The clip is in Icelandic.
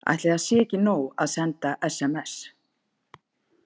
Ætli það sé ekki nóg að senda sms?